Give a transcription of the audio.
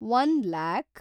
one‍ lac